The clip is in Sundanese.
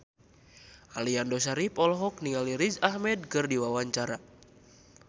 Aliando Syarif olohok ningali Riz Ahmed keur diwawancara